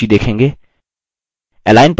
आप toolbars की सूची देखेंगे